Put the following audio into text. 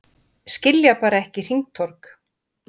Skilja bara ekki hringtorg